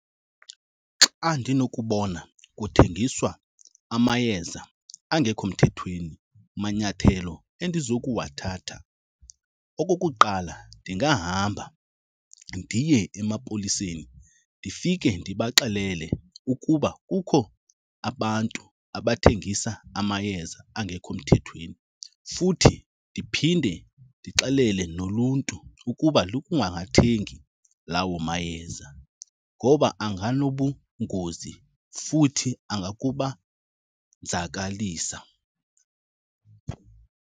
Xa ndinokubona kuthengiswa amayeza angekho mthethweni manyathelo endizokuwathatha, okokuqala, ndingahamba ndiye emapoliseni ndifike ndibaxelele ukuba kukho abantu abathengisa amayeza angekho mthethweni. Futhi ndiphinde ndixelele noluntu ukuba lungawathengi lawo mayeza ngoba anganobungozi futhi angakubanzakalisa.